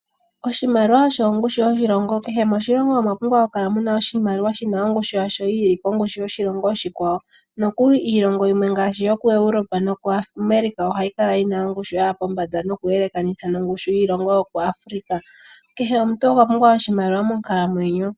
Oshimaliwa osho ongushu yoshilongo. Kehe moshilongo omwa pumbwa oku kala muna oshimaliwa shina ongushu yasho yi ili kongushu yoshilongo oshikwawo, nokuli iilongo yimwe ngaashi yokuEuropa nokuAmerica ohayi kala yina ongushu yaya pombanda nokuyelekanitha nongushu yiilongo yokuAfrika. Kehe omuntu okwa pumbwa oshimaliwa monkalamwenyo.